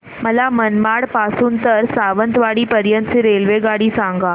मला मनमाड पासून तर सावंतवाडी पर्यंत ची रेल्वेगाडी सांगा